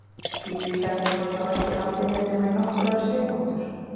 Líklega hefur hann þó ekki haldið mér nema í nokkrar sekúndur.